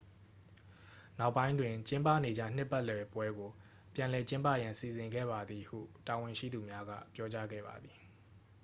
နောက်ပိုင်းတွင် ကျင်းပနေကျနှစ်ပတ်လည်ပွဲကို ပြန်လည်ကျင်းပရန်စီစဉ်ခဲ့ပါသည်ဟု တာဝန်ရှိသူများက ပြောကြားခဲ့ပါသည်